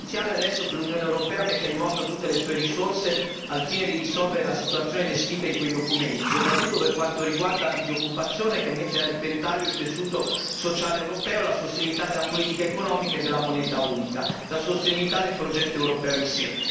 È essenziale adesso che l'Unione europea metta in moto tutte le sue risorse al fine di risolvere la situazione descritta in quei documenti, soprattutto per quanto riguarda la disoccupazione, che mette a repentaglio il tessuto sociale europeo, la sostenibilità della politica economica e della moneta unica e la sostenibilità del progetto europeo in sé.